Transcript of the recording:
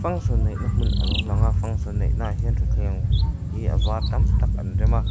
function neih na hmun a lo lang a function neih na ah hian thuthleng hi a var tam tak an rem a.